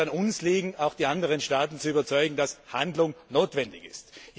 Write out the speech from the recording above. Es wird an uns liegen, auch die anderen Staaten zu überzeugen, dass Handlung notwendig ist.